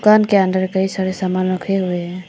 दुकान के अंदर कई सारे सामान रखे हुए हैं।